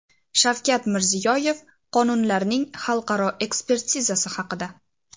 Shavkat Mirziyoyev qonunlarning xalqaro ekspertizasi haqida.